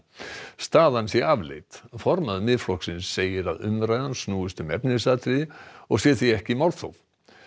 staðan sé afleit formaður Miðflokksins segir að umræðan snúist um efnisatriði og sé því ekki málþóf